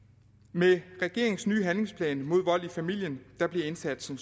med regeringens nye handlingsplan mod vold i familien bliver indsatsen